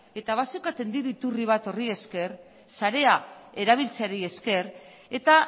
eta bazeukaten diru iturri bat horri esker sarea erabiltzeari esker eta